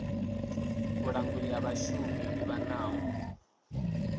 vhulanguli ha vhashumi yo livhanaho